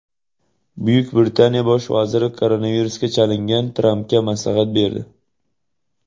Buyuk Britaniya bosh vaziri koronavirusga chalingan Trampga maslahat berdi.